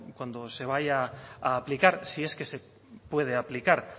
cuando se vaya a aplicar si es que se puede aplicar